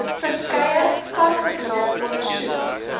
verskeie vakgebiede ondersoek